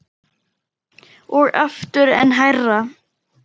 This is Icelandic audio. Og aftur, enn hærra